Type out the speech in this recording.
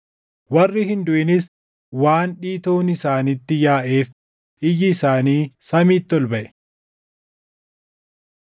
Warri hin duʼinis waan dhiitoon isaanitti yaaʼeef iyyi isaanii samiitti ol baʼe.